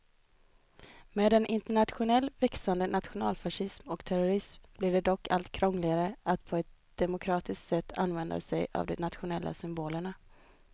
Med en internationellt växande nationalfascism och terrorism blir det dock allt krångligare att på ett demokratiskt sätt använda sig av de nationella symbolerna.